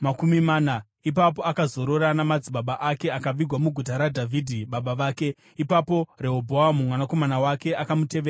Ipapo akazorora namadzibaba ake akavigwa muguta raDhavhidhi baba vake. Ipapo Rehobhoamu mwanakomana wake akamutevera paumambo.